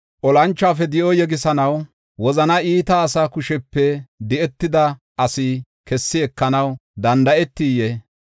Olanchuwafe di7o yegisanaw, wozan iita asa kushepe di7etida asi kessi ekanaw danda7etiyee?